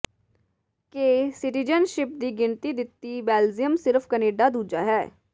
ਕੇ citizenships ਦੀ ਗਿਣਤੀ ਦਿੱਤੀ ਬੈਲਜੀਅਮ ਸਿਰਫ ਕੈਨੇਡਾ ਦੂਜਾ ਹੈ